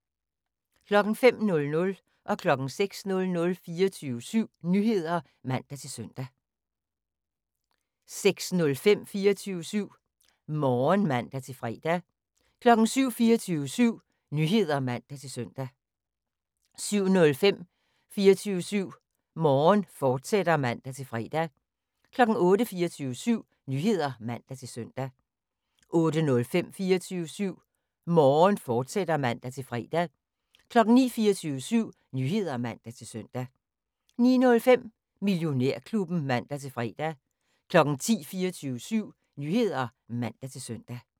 05:00: 24syv Nyheder (man-søn) 06:00: 24syv Nyheder (man-søn) 06:05: 24syv Morgen (man-fre) 07:00: 24syv Nyheder (man-søn) 07:05: 24syv Morgen, fortsat (man-fre) 08:00: 24syv Nyheder (man-søn) 08:05: 24syv Morgen, fortsat (man-fre) 09:00: 24syv Nyheder (man-søn) 09:05: Millionærklubben (man-fre) 10:00: 24syv Nyheder (man-søn)